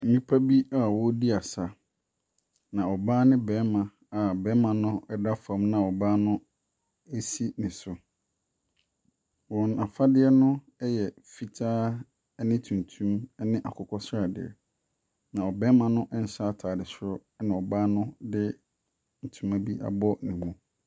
Nnipa bi wɔredi asa. Na ɔbaa ne ɔbarima a ɔbarima no da fam na ɔbaa no si ne so. Wɔn afade no yɛ fitaa ne tuntum ne akokɔsradeɛ. Na ɔbarima no nhyɛ ataadeɛ. Na ɔbarima no nhyɛ ataade soro na ɔbaa no de ntoma abɔ ne mu.